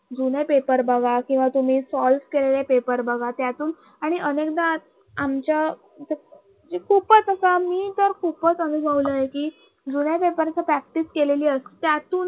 जुने Paper बघा किंवा तुम्ही Solve केलेले Paper बघा त्यातून आणि अनेकदा आमच्या म्हणजे खूपच असा मी तर खूपच अनुभवला आहे कि जुन्या Paper ची Practice केलेली. असते त्यातून